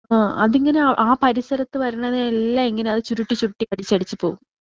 ആ അതിങ്ങനെ ആ പരിസരത്ത് വരുന്നവരെ എല്ലാം ഇങ്ങനെ ചുരുട്ടി ചുരുട്ടി അടിച്ച് അടിച്ച് പോവും.